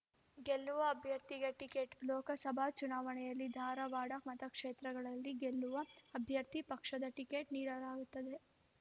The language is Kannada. ಗೆಲ್ಲುವ ಅಭ್ಯರ್ಥಿಗೆ ಟಿಕೆಟ್ ಲೋಕಸಭಾ ಚುನಾವಣೆಯಲ್ಲಿ ಧಾರವಾಡ ಮತಕ್ಷೇತ್ರದಲ್ಲಿ ಗೆಲ್ಲುವ ಅಭ್ಯರ್ಥಿಗೆ ಪಕ್ಷದ ಟಿಕೆಟ್ ನೀಡಲಾಗುತ್ತದೆ